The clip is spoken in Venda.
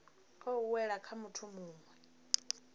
khou wela kha muthu muwe